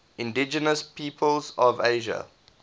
indigenous peoples of asia